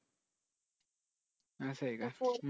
अस आहे का